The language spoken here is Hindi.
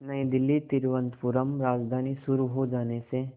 नई दिल्ली तिरुवनंतपुरम राजधानी शुरू हो जाने से